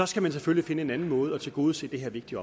skal man selvfølgelig finde en anden måde at tilgodese det her vigtige